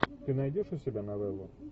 ты найдешь у себя новеллу